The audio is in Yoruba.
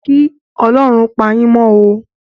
Kí Ọlọ́run pà yín mó o